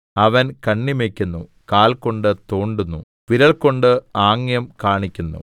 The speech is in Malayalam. അവൻ കണ്ണിമയ്ക്കുന്നു കാൽ കൊണ്ട് തോണ്ടുന്നു വിരൽകൊണ്ട് ആംഗ്യം കാണിക്കുന്നു